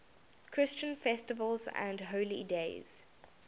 christian festivals and holy days